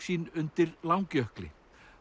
sín undir Langjökli